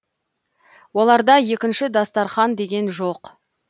оларда екінші дастарқан деген жоқ